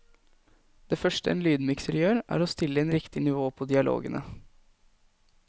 Det første en lydmikser gjør, er å stille inn riktig nivå på dialogene.